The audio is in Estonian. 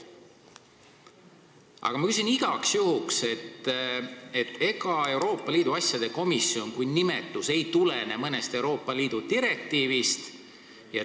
Aga ma küsin igaks juhuks, et ega Euroopa Liidu asjade komisjoni nimetus ei tulene mõnest Euroopa Liidu direktiivist.